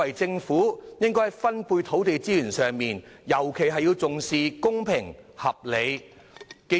在分配土地資源的時候，政府尤其應重視公平和合理。